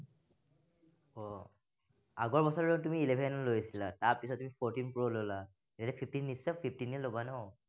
আগৰ বছৰটোত তুমি eleven লৈছিলা, তাৰপিছত তুমি fourteen pro ললা। এতিয়া fifteen নিশ্চয় fifteen য়েই লবা ন?